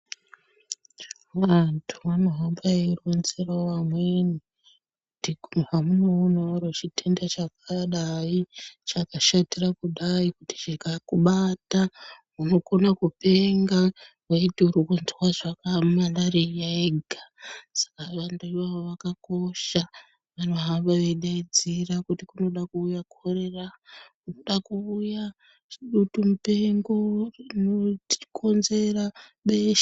Vantu vanohamba veironzerawo vamweni kuti hamunoonawo chitenda chakadai chakashatira kudai kuti chikakubata unokona kupenga weiti urikundwa malaria yega Saka vantu ivavo zvakakosha vanohamba veidaidzira kuti kunoda kuuya korera kunoda kuuya dutu mupengo inokonzerwa besha.